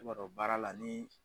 I b'a dɔn baara la ni